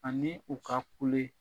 Ani u ka kule.